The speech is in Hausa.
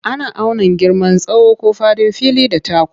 Ana auna girman tsawo ko faɗin fili da taku.